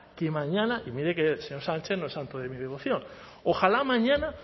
que mañana y mire que el señor sánchez no es santo de mi devoción ojalá mañana